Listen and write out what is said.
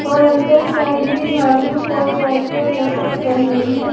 और अंदर साइड भी झाड़ू और वाइपर लटक रहे हैं।